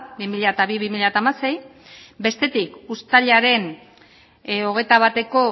bi mila bi bi mila hamasei bestetik uztailaren hogeita bateko